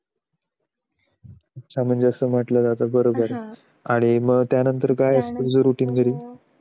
अच्छा असं म्हटलं जात बरोबर आहे हम्म आणि त्यांनतर काय रुटीन वैगेरे